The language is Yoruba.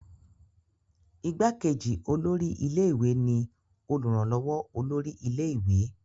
Ìgbàkejì olórí ilé ìwé ni olùrànlọ́wọ́ olórí ilé ìwé.